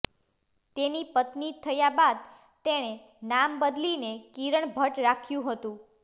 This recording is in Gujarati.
તેની પત્ની થયા બાદ તેણે નામ બદલીને કિરણ ભટ્ટ રાખ્યું હતું